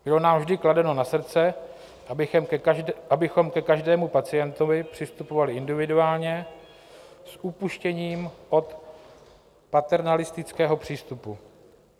Bylo nám vždy kladeno na srdce, abychom ke každému pacientovi přistupovali individuálně s upuštěním od paternalistického přístupu.